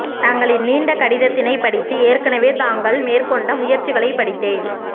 தங்களின் நீண்ட கடிதத்தினைப் படித்து ஏற்கனவே தாங்கல் மேற்கொண்ட முயற்சிகளைப் படித்தேன்